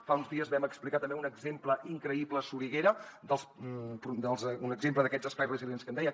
fa uns dies vam explicar també un exemple increïble a soriguera un exemple d’aquests espais resilients que em deia